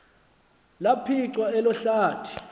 laphicwa elo hlathi